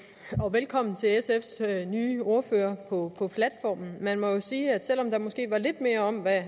velkommen til sfs nye ordfører på på platformen man må jo sige at selv om der måske var lidt mere om hvad